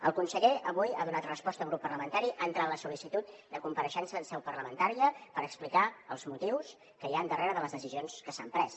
el conseller avui ha donat resposta a un grup parlamentari ha entrat la sol·licitud de compareixença en seu parlamentària per explicar els motius que hi han darrere de les decisions que s’han pres